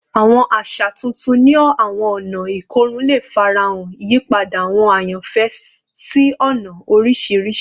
Awọn aṣa tuntun ni awọn ọna ikorun le farahan, iyipada awọn ayanfẹ si ọna oriṣiriṣi